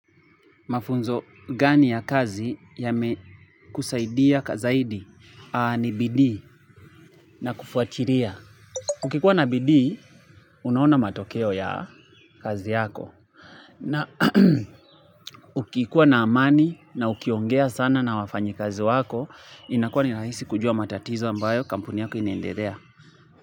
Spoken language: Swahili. Mafunzo gani ya kazi yame kusaidia kazaidi ni bidii na kufuatiria. Ukikuwa na bidii, unahona matokeo ya kazi yako. Na ukikuwa na amani na ukiongea sana na wafanyi kazi wako, inakua ni rahisi kujua matatizo ambayo kampuni yako inaendedea.